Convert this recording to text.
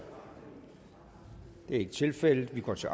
det er ikke tilfældet vi går til